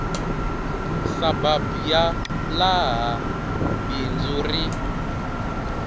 surburb ya laha bindzu ri